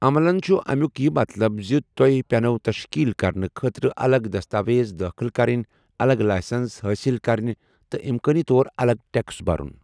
ٰعملن چُھ اَمیُک یہِ مطلب زِ تۄہہِ پیٚنَو تشکیٖل کرنہٕ خٲطرٕ اَلگ دستاویز دٲخٕل کرٕنۍ ، اَلگ لایسَنٛس حٲصِل کَرٕنہِ ، تہِ اِمکٲنی طور اَلگ ٹیٚکس بَرُن ۔